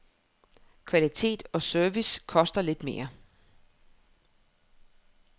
Kvalitet og service koster lidt mere.